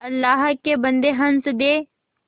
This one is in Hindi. अल्लाह के बन्दे हंस दे